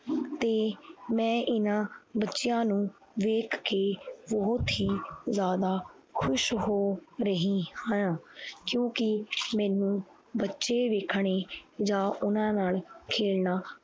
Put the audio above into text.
ਤੇ ਮੈਂ ਇਹਨਾਂ ਬੱਚਿਆਂ ਨੂੰ ਵੇਖ ਕੇ ਬਹੁਤ ਹੀ ਜ਼ਿਆਦਾ ਖ਼ੁਸ਼ ਹੋ ਰਹੀ ਹਾਂ ਕਿਉਂਕਿ ਮੈਨੂੰ ਬੱਚੇ ਵੇਖਣੇ ਜਾਂ ਉਹਨਾਂ ਨਾਲ ਖੇਲਣਾ